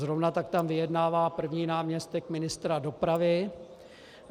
Zrovna tak tam vyjednává první náměstek ministra dopravy.